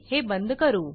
हे बंद करू